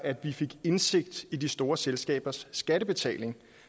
indsigt i de store selskabers skattebetaling